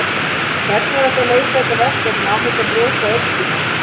Hvernig er hægt að leysa þetta verkefni án þess að brjóta öskjuna?